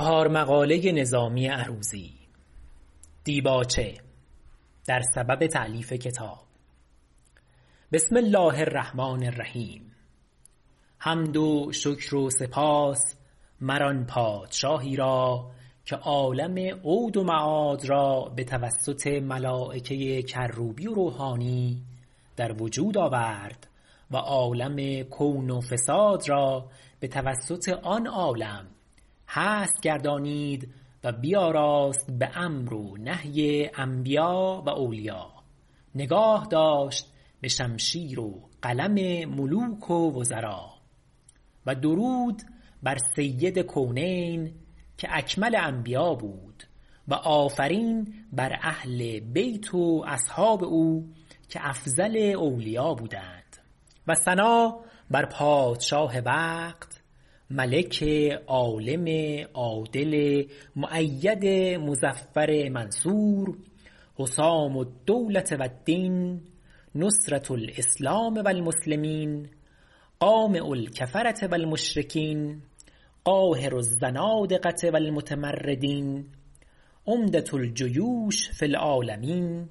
حمد و شکر و سپاس مر آن پادشاهی را که عالم عود و معاد را بتوسط ملایکه کروبی و روحانی در وجود آورد و عالم کون و فساد را بتوسط آن عالم هست گردانید و بیاراست به امر و نهی انبیاء و اولیاء نگاه داشت به شمشیر و قلم ملوک و وزرا و درود بر سید کونین که اکمل انبیاء بود و آفرین بر اهل بیت و اصحاب او که افضل اولیاء بودند و ثنا بر پادشاه وقت ملک عالم عادل مؤید مظفر منصور حسام الدولة و الدین نصرة الاسلام و المسلمین قامع الکفرة و المشرکین قاهر الزنادقة و المتمردین عمدة الجیوش فی العالمین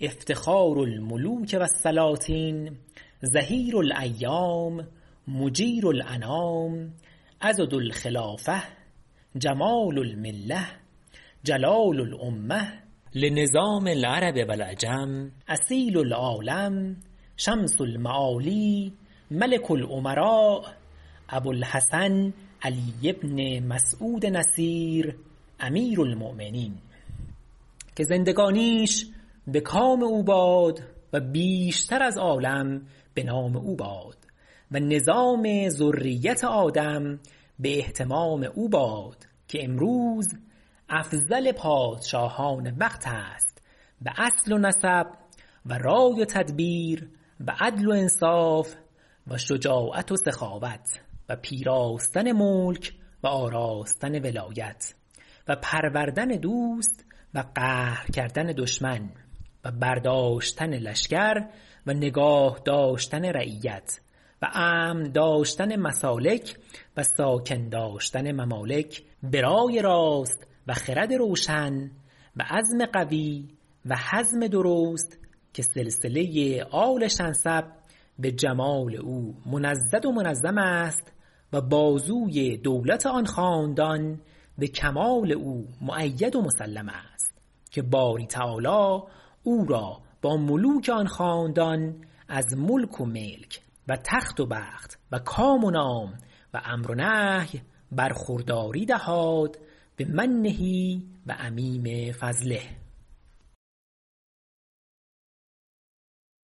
افتخار الملوک و السلاطین ظهیر الایام مجیر الانام عضد الخلافة جمال الملة جلال الامة لنظام العرب و العجم اصیل العالم شمس المعالی ملک الامراء ابولحسن علی بن مسعود نصیر امیرالمؤمنین که زندگانیش بکام او باد و بیشتر از عالم به نام او باد و نظام ذریت آدم به اهتمام او باد که امروز افضل پادشاهان وقت است به اصل و نسب و رای و تدبیر و عدل و انصاف و شجاعت و سخاوت و پیراستن ملک و آراستن ولایت و پروردن دوست و قهر کردن دشمن و برداشتن لشکر و نگاه داشتن رعیت و امن داشتن مسالک و ساکن داشتن ممالک به رای راست و خرد روشن و عزم قوی و حزم درست که سلسله آل شنسب به جمال او منضد و منظم است و بازوی دولت آن خاندان به کمال او مؤید و مسلم است که باری تعالی او را با ملوک آن خاندان از ملک و ملک و تخت و بخت و کام و نام و امر و نهی برخورداری دهاد بمنه و عمیم فضله